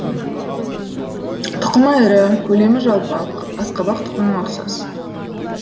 тұқымы ірі көлемі жалпақ асқабақ тұқымына ұқсас